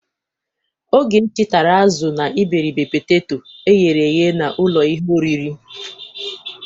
Ogechi tara azụ na iberibe peteto eghere eghe n'ụlọ ihe oriri.